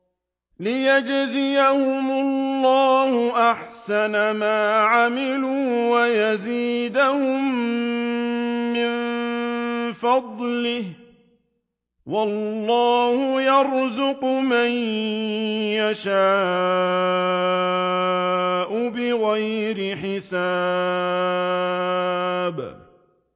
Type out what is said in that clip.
لِيَجْزِيَهُمُ اللَّهُ أَحْسَنَ مَا عَمِلُوا وَيَزِيدَهُم مِّن فَضْلِهِ ۗ وَاللَّهُ يَرْزُقُ مَن يَشَاءُ بِغَيْرِ حِسَابٍ